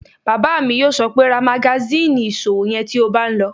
Bàbá mi yóò sọ pé "ra magasíìnì ìṣòwò yẹn tí o bá n lọ!"